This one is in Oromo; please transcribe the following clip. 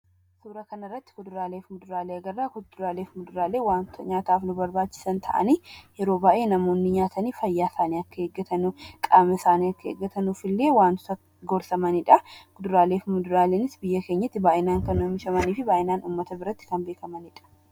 Suuraa kanarratti kuduraalee fi muduraalee agarraa. Kuduraalee fi muduraaleen wanta nyaataaf nu barbaachisan ta'anii yeroo baay'ee namoonni nyaatanii fayyaa isaanii akka eegggatan, qaama isaanii akka eeggataniif illee wantoota gorsamaniidha. Kuduraalee fi muduraaleenis biyya keenyatti baay'inaan kan oomishamanii fi baay'inaan kan beekamaniidha.